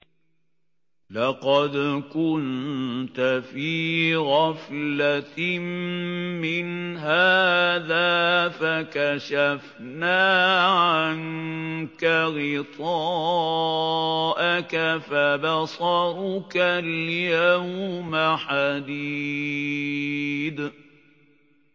لَّقَدْ كُنتَ فِي غَفْلَةٍ مِّنْ هَٰذَا فَكَشَفْنَا عَنكَ غِطَاءَكَ فَبَصَرُكَ الْيَوْمَ حَدِيدٌ